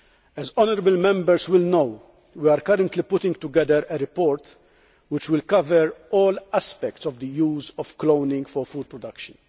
As honourable Members will know, we are currently putting together a report which will cover all aspects of the use of cloning for food production.